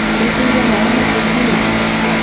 Nĩwĩkĩrire maĩ mĩtunginĩ?